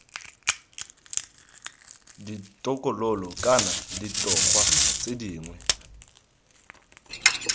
ditokololo kana ditogwa tse dingwe